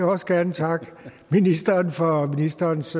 også gerne takke ministeren for ministerens